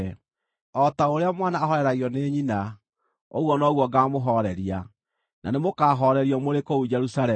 O ta ũrĩa mwana ahooreragio nĩ nyina, ũguo noguo ngaamũhooreria; na nĩmũkahoorerio mũrĩ kũu Jerusalemu.”